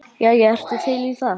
Jæja, ertu til í það?